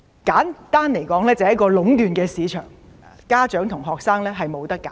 簡單來說，就是壟斷市場，家長和學生沒有選擇。